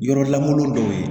Yɔrɔ lankolon dɔw ye